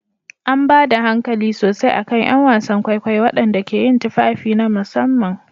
An ba da hankali sosai a kan 'yan wasan kwaikwayo waɗanda ke yin tufafi na musamman.